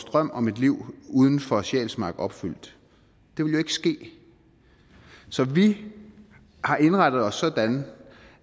drøm om et liv uden for sjælsmark opfyldt det vil jo ikke ske så vi har indrettet os sådan